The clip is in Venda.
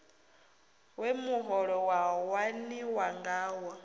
we muholo wa waniwa ngawo